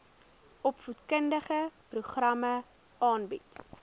opvoedkundige programme aanbied